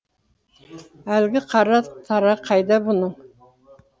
әлгі қара тарағы қайда бұның